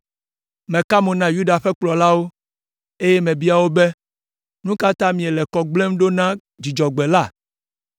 Meka mo na Yuda ƒe kplɔlawo, eye mebia wo be, “Nu ka ta miele kɔ gblẽm ɖo na Dzudzɔgbe la?